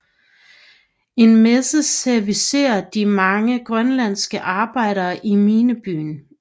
En messe servicerer de mange grønlandske arbejdere i minebyen